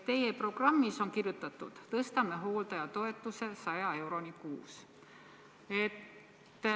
Teie programmis on kirjutatud: tõstame hooldajatoetuse 100 euroni kuus.